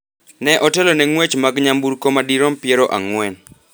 ne otelo ne ng’wech mag nyamburko madirom piero ang'wen,